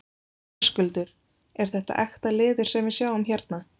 Höskuldur: Er þetta ekta leður sem við sjáum hérna?